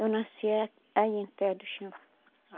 Eu nasci a aí em Alter do Chão.